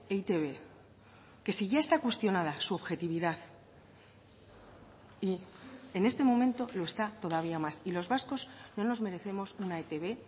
e i te be que si ya está cuestionada su objetividad y en este momento lo está todavía más y los vascos no nos merecemos una etb